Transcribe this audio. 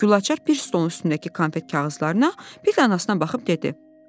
Gülaçar bir stolun üstündəki iki konfet kağızlarına, bir anasına baxıb dedi: